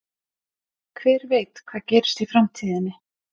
Hver veit hvað gerist í framtíðinni?